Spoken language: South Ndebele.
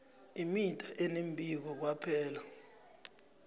imida enembileko kwaphela